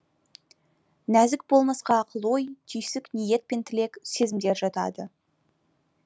нәзік болмысқа ақыл ой түйсік ниет пен тілек сезімдер жатады